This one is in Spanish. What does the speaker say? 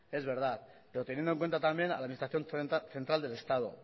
es verdad pero teniendo en cuenta también a la administración central del estado